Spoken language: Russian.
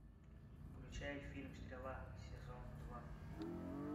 включай фильм стрела сезон два